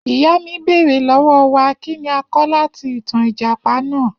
Iya mi beere lọwọ wa kini a kọ lati itan ijapa naa